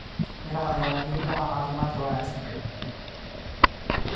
Miraha ayaa muhiim u ah caafimaadka wanaagsan.